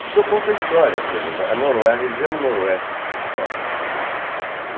Porque eu conto a história, por exemplo, a noro a região noroeste de São Paulo.